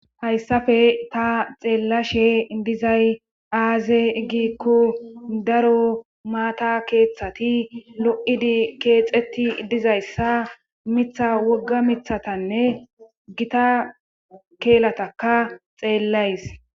hayssafe ta xeellashe dizay aaze giikku daro maata keeththati lo7idi keexeti dizayssa mitha wogga mithatanne gita keelataka xeellays